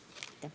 Aitäh!